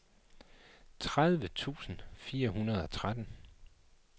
tredive tusind fire hundrede og tretten